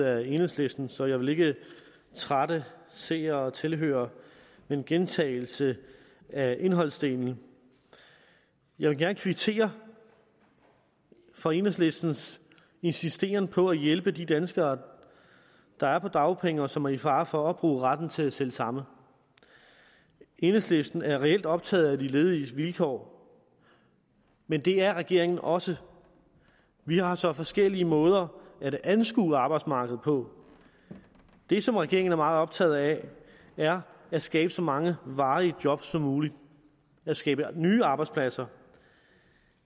af enhedslisten så jeg vil ikke trætte seere og tilhørere med en gentagelse af indholdsdelen jeg vil gerne kvittere for enhedslistens insisteren på at hjælpe de danskere der er på dagpenge og som er i fare for at opbruge retten til selv samme enhedslisten er reelt optaget af de lediges vilkår men det er regeringen også vi har så forskellige måder at anskue arbejdsmarkedet på det som regeringen er meget optaget af er at skabe så mange varige jobs som muligt at skabe nye arbejdspladser